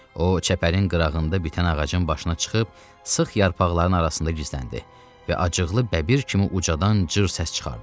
O çəpərin qırağında bitən ağacın başına çıxıb sıx yarpaqların arasında gizləndi və acıqlı bəbir kimi ucadan cır səs çıxartdı.